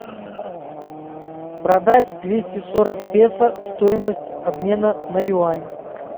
продать двести сорок песо стоимость обмена на юань